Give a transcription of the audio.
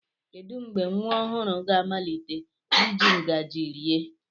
Kedu mgbe nwa ọhụrụ ga-amalite iji ngaji rie?